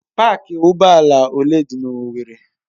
Pááki ụgbọ ala ole dị na owerri?